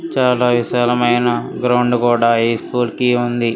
చాలా విశాలమైన గ్రౌండ్ కూడా ఈ స్కూల్ కి ఉంది.